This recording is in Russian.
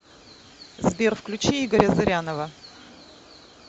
сбер включи игоря зырянова